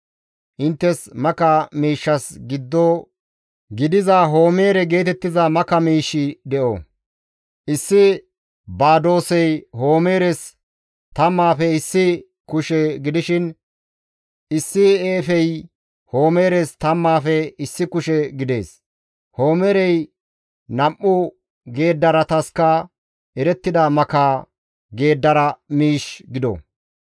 Inttes maka miishshas giddo gidiza Homeere geetettiza maka miish de7o; issi badoosey homeeres tammaafe issi kushe gidishin, issi efey homeeres tammaafe issi kushe gidees. Homeerey nam7u geeddaratasika erettida maka geeddara miish gido.